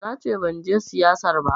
Nace banje siyayyar ba